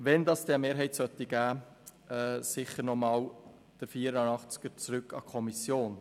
Wenn es eine Mehrheit geben sollte, dann soll der Artikel 84 nochmals zurück an die Kommission.